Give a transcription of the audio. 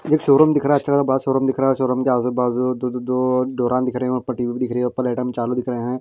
एक शोरूम दिख रहा है अच्छा सा बड़ा शोरूम दिख रहा है शोरूम के आजू बाजू दो दो दो दो दिख रहे हैं ऊपर दिख रही है चालू दिख रहे हैं।